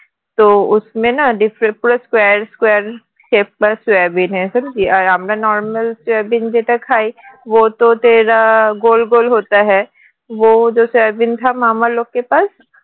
different square square shape আমরা normal soybean যেটা খাই